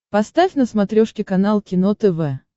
поставь на смотрешке канал кино тв